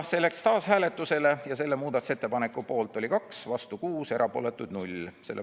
See läks taas hääletusele, selle muudatusettepaneku poolt oli 2, vastu 6, erapooletuid 0.